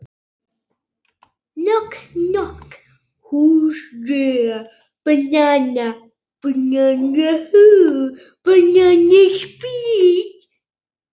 Júlíu passi hvort sem er.